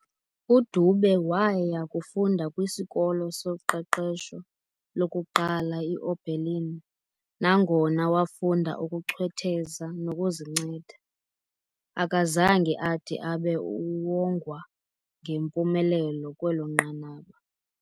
DUDube waaya kufunda kwisikolo soqeqesho lokuqala i-Oberlinl nangona wafunda ukuchwetheza nokuzinceda, akazange ade abe uwongwa ngempumelelo kwelo nqanaba.